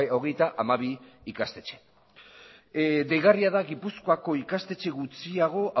hogeita hamabi ikastetxe deigarria da gipuzkoako ikastetxe gutxiago